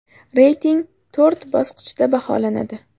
Reyting to‘rt bosqichda baholanadi.